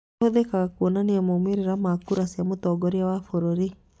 Ĩhũthĩkaga kwonania maũmĩrĩra na kura cia mũtongoria wa bũrũri